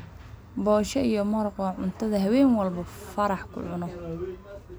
bosha iyo maraaq waa cuntadha haween walbo farax cunoo.